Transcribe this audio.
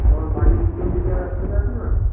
তোমার বাড়ির পিছন দিকে রাস্তাটা আছে না